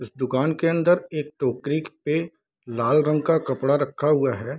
इस दुकान के अंदर एक टोकरी पे लाल रंग का कपड़ा रखा हुआ है।